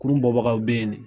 Kurun bɔ bagaw be yen de.